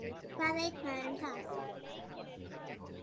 Hvað veit maður um það?